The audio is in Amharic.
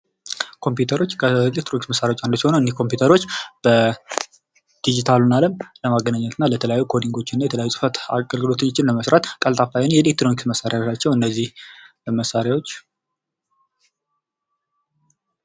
ኮምፒተሮች ከኤሌትሮኒክስ መሳሪያዎች አንዱ ሲሆኑ እኒህ ኮምፒተሮች በ ድጅታሉን አለም ለማገናኘት እና ለተለያዩ ኮዲንጎች እና ለተለያዩ ፅህፈት አገልግሎቶችን ለመስራት ቀልጣፋ የሆኑ የኤሌትሮኒክስ መሳሪያዎች ናቸው እነዚህ መሳሪያዎች ።